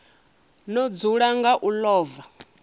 no dzula nga u ḽova